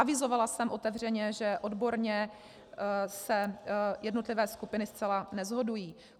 Avizovala jsem otevřeně, že odborně se jednotlivé skupiny zcela neshodují.